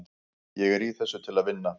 Ég er í þessu til að vinna.